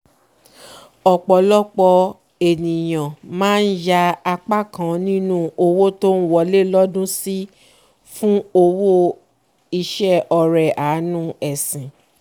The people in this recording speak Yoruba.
ọ̀pọ̀lọpọ̀ ènìyàn máa ń yà apá kan ninu owó tón wọlé lododún sí fún owó fún iṣẹ́ ọrẹ àánú ẹ̀sìn